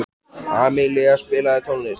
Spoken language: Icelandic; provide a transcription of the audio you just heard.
Amilía, spilaðu tónlist.